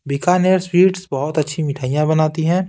Bikaner sweets बहुत अच्छी मिठाइयाँ बनाती हैं।